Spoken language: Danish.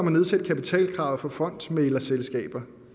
at nedsætte kapitalkravet for fondsmæglerselskaber